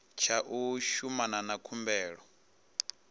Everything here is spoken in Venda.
tsha u shumana na khumbelo